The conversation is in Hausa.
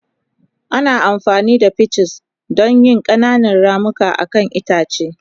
Ana amfani da pinches don yin ƙananan ramuka akan itace.